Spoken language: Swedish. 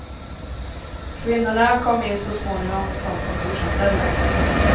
Kvinnorna kom in så småningom som kontorsanställda.